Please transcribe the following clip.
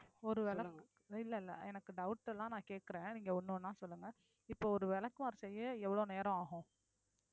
ஒருவேளை இல்லை இல்லை எனக்கு doubt எல்லாம் நான் கேட்கிறேன் நீங்க ஒண்ணு ஒண்ணா சொல்லுங்க இப்போ ஒரு விளக்குமாறு செய்ய எவ்வளவு நேரம் ஆகும்